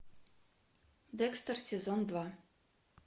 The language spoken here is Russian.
декстер сезон два